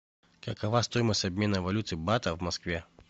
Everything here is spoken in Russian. какова стоимость обмена валюты бата в москве